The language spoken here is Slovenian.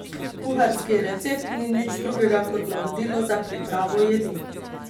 Kuharski recept ni nič drugega kot navodilo za pripravo jedi.